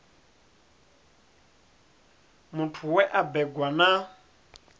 muthu we a bebwa na